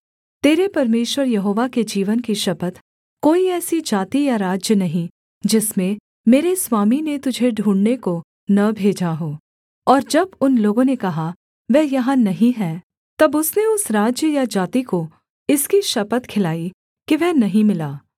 तेरे परमेश्वर यहोवा के जीवन की शपथ कोई ऐसी जाति या राज्य नहीं जिसमें मेरे स्वामी ने तुझे ढूँढ़ने को न भेजा हो और जब उन लोगों ने कहा वह यहाँ नहीं है तब उसने उस राज्य या जाति को इसकी शपथ खिलाई कि वह नहीं मिला